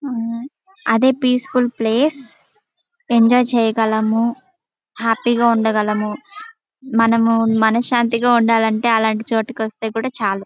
ఆ అదే peaceful place enjoy చేయగలము హ్యాపీ గా ఉండగలము మనము మనశ్శాంతిగా ఉండాలంటే అలాంటి చోటికి వస్తే కూడా చాలు.